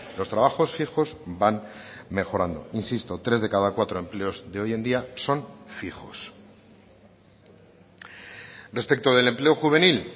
los trabajos fijos van mejorando insisto tres de cada cuatro empleos de hoy en día son fijos respecto del empleo juvenil